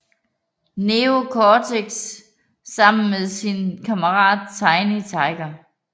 Neo Cortex sammen med sin kammerat Tiny Tiger